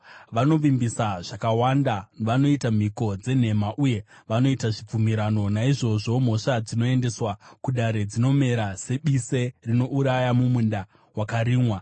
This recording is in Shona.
Vanovimbisa zvakawanda, vanoita mhiko dzenhema uye vanoita zvibvumirano; naizvozvo mhosva dzinoendeswa kudare dzinomera sebise rinouraya mumunda wakarimwa.